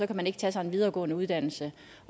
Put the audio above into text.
kan man ikke tage sig en videregående uddannelse